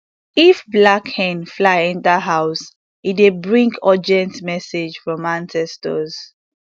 if black hen fly enter house e dey bring urgent message from ancestors